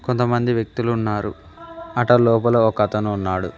కొంతమంది వ్యక్తులు ఉన్నారు అట లోపల ఒకతను ఉన్నాడు.